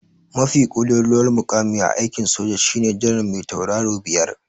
Mafi ƙololuwar muƙami a aikin soja shine janar me tauraro biyar.